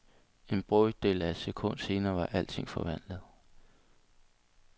En brøkdel af et sekund senere var alting forvandlet.